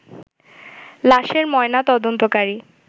লাশের ময়না তদন্তকারী